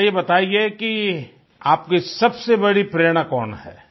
अच्छा ये बताइये कि आपकी सबसे बड़ी प्रेरणा कौन है